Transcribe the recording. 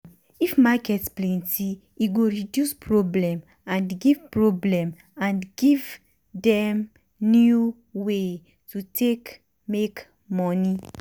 if market plenty e go reduce problem and give problem and give dem new way to take make money.